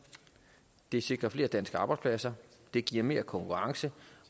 det sikrer flere danske arbejdspladser det giver mere konkurrence